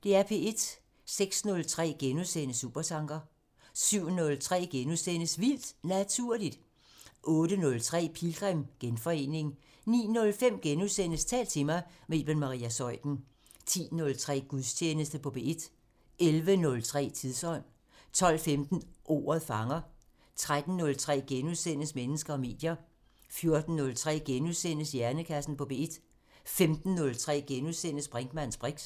06:03: Supertanker * 07:03: Vildt Naturligt * 08:03: Pilgrim – Genforening 09:05: Tal til mig – med Iben Maria Zeuthen * 10:03: Gudstjeneste på P1 11:03: Tidsånd 12:15: Ordet fanger 13:03: Mennesker og medier * 14:03: Hjernekassen på P1 * 15:03: Brinkmanns briks *